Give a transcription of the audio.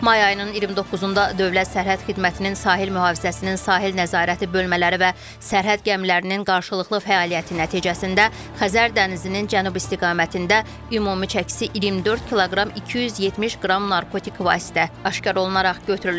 May ayının 29-da Dövlət Sərhəd Xidmətinin Sahil Mühafizəsinin sahil nəzarəti bölmələri və sərhəd gəmilərinin qarşılıqlı fəaliyyəti nəticəsində Xəzər dənizinin cənub istiqamətində ümumi çəkisi 24 kq 270 qram narkotik vasitə aşkar olunaraq götürülüb.